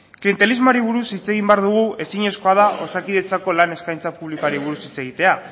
klientelismoari buruz hitz egin behar dugu ezinezkoa da osakidetzaren lan eskaintza publikoari buruz hitz egitea